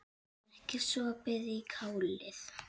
Ekki sopið í kálið.